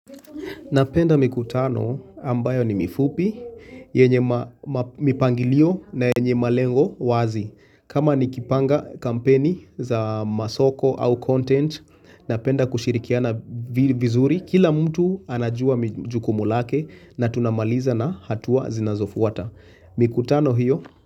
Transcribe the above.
Napenda mikutano ambayo ni mifupi, yenye mipangilio na yenye malengo wazi kama nikipanga kampeni za masoko au content, napenda kushirikiana vizuri Kila mtu anajua jukumu lake na tunamaliza na hatua zinazofuata. Mikutano hiyo.